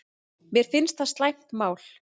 Mér finnst það slæmt mál